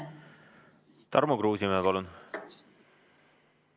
Tarmo Kruusimäe, palun!